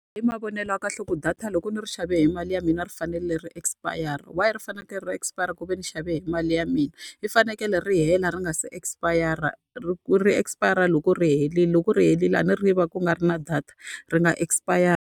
I mavonelo ya kahle ku data loko ni ri xave hi mali ya mina ri fanerile ri expire-ra. Why ri fanekele ri ri expire ku ve ni xave hi mali ya mina? Ri fanekele ri hela ri nga se expire-ra. Ri ri expire loko ri herile, loko ri helile a ni ri va ku nga ri na data, ri nga expire-ri.